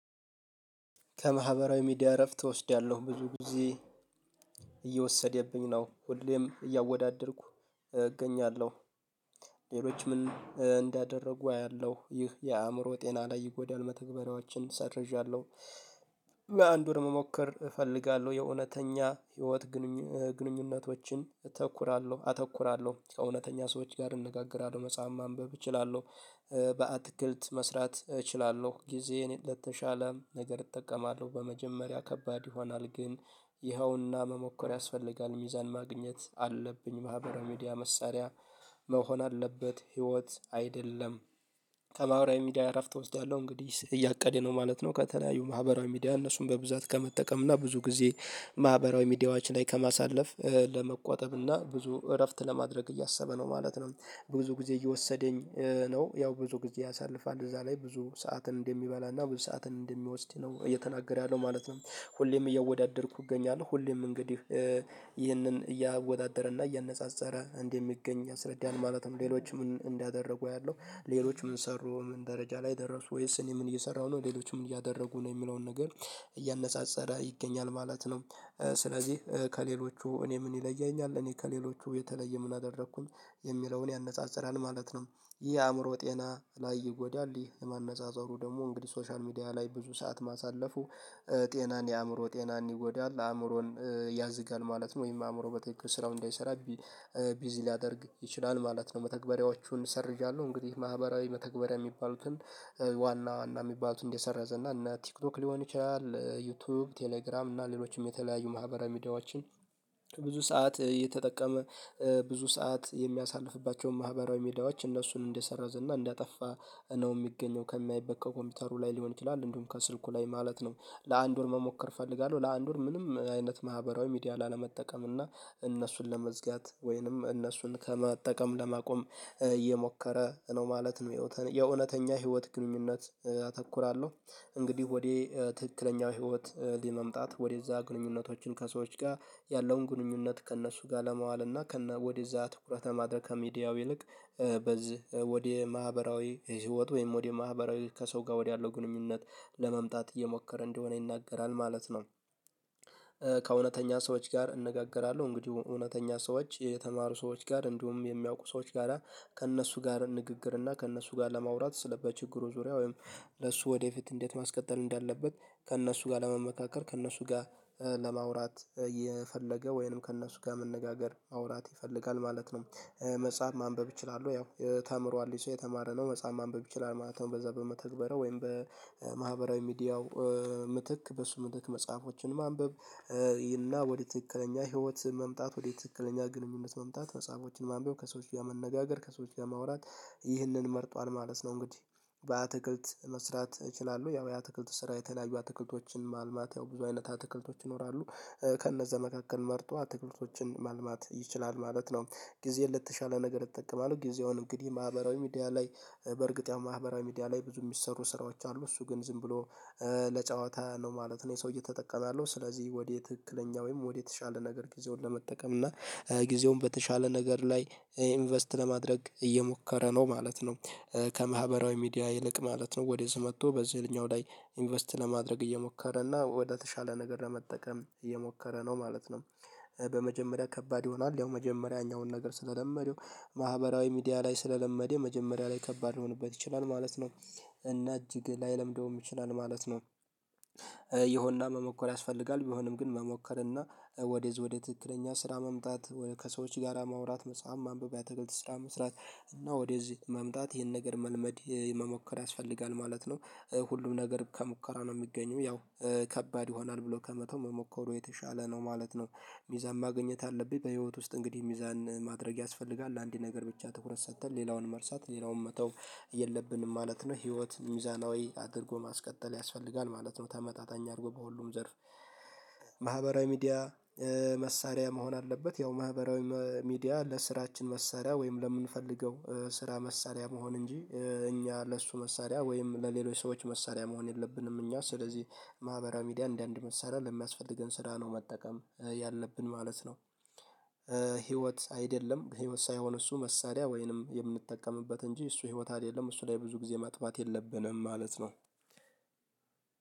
ከማህበራዊ ሚዲያ እረፍት እወስዳለሁ ብዙ ጊዜ ነው ሁሌም እያወዳደርኩ እገኛለሁ። ሌሎች ምን እንዳደረጉ አያለሁ ይህ የአእምሮ ጤና ላይ ይጎዳል። መተግበሪያዎችን ሰርዣለሁ። አንድ ወር መሞከር እፈልጋለሁ የእውነተኛ ህይወት ግንኙነቶችን አተኩራለሁ ከእውነተኛ ሰዎች ጋር እንነጋገራለሁ መጽሐፍ ማንበብ እችላለሁ። በአትክልት መስራት እችላለሁ ጊዜ እኔ ለተሻለ ነገር እጠቀማለሁ። በመጀመሪያ ከባድ ይሆናል ግን ይኸውና መሞከር ያስፈልጋል። ሚዛን ማግኘት አለብኝ ማህበራዊ ሚዲያ መሳሪያ መሆን አለበት ህይወት አይደለም። ከማህበራዊ ሚዲያ እረፍት እወስዳለሁ እንግዲህ እያቀደ ነው ማለት ነው። ከተለያዩ ማህበራዊ ሚዲያ እነሱን በብዛት ከመጠቀም እና ብዙ ጊዜ ማህበራዊ ሚዲያዎች ላይ ከማሳለፍ ለመቆጠብ እና ብዙ እረፍት ለማድረግ እያሰበ ነው ማለት ነው። ብዙ ጊዜ እየወሰደኝ ነው ያው ብዙ ጊዜ ያሳልፋል እዛ ላይ ብዙ ሰዓትን እንደሚበላና ብዙ ሰዓትን እንደሚወስድ ነው እየተናገረ ያለው ማለት ነው። ሁሌም እያወዳደርኩ እገኛለሁ ሁሌም እንግዲህ ይህንን እያወዳደረና እያነጻጸረ እንደሚገኝ አስረዳን። ማለትም ሌሎች ምን እንዳደረጉ ያለው ሌሎች ምን ሰሩ ምን ደረጃ ላይ ደረሱ ወይስ እኔ ምን እየሰራሁ ነው ሌሎች ምን እያደረጉ ነው የሚለውን ነገር እያነሳሰረ ይገኛል ማለት ነው። ስለዚህ ከሌሎቹ እኔ ምን ይለያኛል እኔ ከሌሎቹ የተለየ ምን አደረኩኝ የሚለውን ያነጻጽራል ማለት ነው። ይህ አእምሮ ጤና ላይ ይጎዳል የማነጻጸሩ ደግሞ እንግዲህ ሶሻል ሚዲያ ላይ ብዙ ሰዓት ማሳለፉ ጤናን የአእምሮ ጤናን ይጎዳል አእምሮን ያዝጋል ማለት ነው። ወይም አእምሮ በተኪኩ ስራው እንዳይሰራ ቢዚ ሊያደርግ ይችላል ማለት ነው። መተግበሪያዎቹን ሰርዣለሁ እንግዲህ ማህበራዊ መተግበሪያ የሚባሉትን ዋና ዋና የሚባሉትን እንደሰረዘ እና እነ ቲክቶክ ሊሆን ይችላል ዩቲዩብ ቴሌግራም እና ሌሎችም የተለያዩ ማህበራዊ ሚዲያዎችን ብዙ ሰዓት እየተጠቀመ ብዙ ሰዓት የሚያሳልፍባቸውን ማህበራዊ ሜዳዎች እነሱን እንደሰረዘና እንዳጠፋ ነው የሚገኘው ከሚያይበት ኮምፒውተሩ ላይ ሊሆን ይችላል እንዲሁም ከስልኩ ላይ ማለት ነው። ለአንድ ወር መሞከር እፈልጋለሁ ለአንድ ወር ምንም አይነት ማህበራዊ ሚዲያ ላለመጠቀም እና እነሱን ለመዝጋት ወይንም እነሱን ከመጠቀም ለማቆም እየሞከረ ነው ማለት ነው። የእውነተኛ ህይወት ግንኙነት አተኩራለሁ እንግዲህ ወደ ትክክለኛው ህይወት ለመምጣት ወደዛ ግንኙነቶችን ከሰዎች ጋር ያለውን ግንኙነት ከእነሱ ጋር ለማዋል እና ወደዛ ትኩረተ ማድረግ ከሚዲያው ይልቅ በዚህ ወደ ማህበራዊ ህይወት ወይም ወደ ማህበራዊ ከሰው ጋር ወደ ያለው ግንኙነት ለመምጣት እየሞከረ እንደሆነ ይናገራል ማለት ነው። ከእውነተኛ ሰዎች ጋር እነጋገራለሁ እንግዲህ እውነተኛ ሰዎች የተማሩ ሰዎች ጋር እንዲሁም የሚያውቁ ሰዎች ጋራ ከእነሱ ጋር ንግግር እና ከእነሱ ጋር ለማውራት በችግሩ ዙሪያ ወይም ለሱ ወደፊት እንዴት ማስቀጠል እንዳለበት ከእነሱ ጋር ለመመካከር ከእነሱ ጋር ለማውራት የፈለገ ወይንም ከእነሱ ጋር መነጋገር ማውራት ይፈልጋል ማለት ነው። መጽሐፍ ማንበብ እችላለሁ ያው ተምሯል ሰው የተማረ ነው መጽሐፍ ማንበብ ይችላል ማለት ነው። በዛ በመተግበሪያው ወይም በማህበራዊ ሚዲያው ምትክ በሱ ምትክ መጽሐፎችን ማንበብ ይልና ወደ ትክክለኛ ህይወት መምጣት ወደ ትክክለኛ ግንኙነት መምጣት መጽሐፎችን ማንበብ ከሰዎች ላይ መነጋገር ከሰዎች ጋር ማውራት ይህንን መርጧል ማለት ነው። እንግዲህ በአትክልት መስራት እችላለሁ ያው የአትክልት ስራ የተለያዩ አትክልቶችን ማልማት ያው ብዙ አይነት አትክልቶች ይኖራሉ ከእነዚህ መካከል መርጦ አትክልቶችን ማልማት ይችላል ማለት ነው። ጊዜ ለተሻለ ነገር እጠቀማለሁ ጊዜውን እንግዲህ ማህበራዊ ሚዲያ ላይ በእርግጥ ያው ማህበራዊ ሚዲያ ላይ ብዙ የሚሰሩ ስራዎች አሉ እሱ ግን ዝም ብሎ ለጨዋታ ነው ማለት ነው ይህ ሰው እየተጠቀመ ያለው ስለዚህ ወዴ ትክክለኛ ወይም ወደ የተሻለ ነገር ጊዜውን ለመጠቀም እና ጊዜውን በተሻለ ነገር ላይ ኢንቨስት ለማድረግ እየሞከረ ነው ማለት ነው። ከማህበራዊ ሚዲያ ይልቅ ማለት ነው ወደዚህ መጥቶ በዚህኛው ላይ ኢንቨስት ለማድረግ እየሞከረ እና ወደተሻለ ነገር ለመጠቀም እየሞከረ ነው ማለት ነው። በመጀመሪያ ከባድ ይሆናል ያው መጀመሪያ ያኛውን ነገር ስለለመደው ማህበራዊ ሚዲያ ላይ ስለለመደው መጀመሪያ ላይ ከባድ ሊሆንበት ይችላል ማለት ነው። እና እጅግ ላይለምደውም ይችላል ማለት ነው። መሞከር ያስፈልጋል ቢሆንም ግን መሞከር እና ወደዝ ወደ ትክክለኛ ስራ መምጣት ከሰዎች ጋር ማውራት መጽሐፍ ማንበብ የአትክልት ስራ መስራት እና ወደዚህ መምጣት ይሄን ነገር መልመድ መሞከር ያስፈልጋል ማለት ነው። ሁሉም ነገር ከሙከራ ነው የሚገኘው ያው ከባድ ይሆናል ብሎ ከመተው መሞከሩ የተሻለ ነው ማለት ነው። ሚዛን ማግኘት አለብኝ በህይወት ውስጥ እንግዲህ ሚዛን ማድረግ ያስፈልጋል ለአንድ ነገር ብቻ ትኩረት ሰጠን ሌላውን መርሳት ሌላውንም መተው የለብንም ማለት ነው። ህይወት ሚዛናዊ አድርጎ ማስቀጠል ያስፈልጋል ማለት ነው። ተመጣጣኝ አድርጎ በሁሉም ዘርፍ ሚዲያ መሳሪያ መሆን አለበት። ያው ማህበራዊ ሚዲያ ለስራችን መሳሪያ ወይም ለምንፈልገው ስራ መሳሪያ መሆን እንጂ እኛ ለእሱ መሳሪያ ወይም ለሌሎች ሰዎች መሳሪያ መሆን የለብንም። እኛ ስለዚህ ማህበራዊ ሚዲያ እንደአንድ መሰረት ለሚያስፈልገን ስራ ነው መጠቀም ያለብን ማለት ነው። ህይወት አይደለም ህይወት ሳይሆን እሱ መሳሪያ ወይንም የምንጠቀምበት እንጂ እሱ ህይወት አይደለም እሱ ላይ ብዙ ጊዜ ማጥፋት የለብንም ማለት ነው።